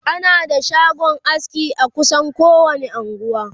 ana da shagon aski a kusan kowani unguwa